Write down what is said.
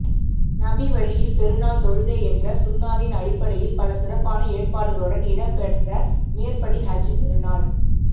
நபி வழியில் பெருநாள் தொழுகை என்ற சுன்னாவின் அடிப்படையில் பல சிறப்பான ஏற்பாடுகளுடன் இடம் பெற்ற மேற்படி ஹஜ் பெருநாள்